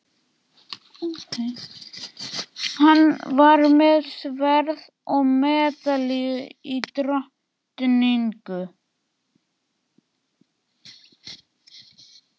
Hann var með sverð og medalíu og drottningu.